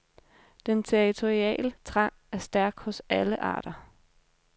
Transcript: Den territoriale trang er stærk hos alle arter.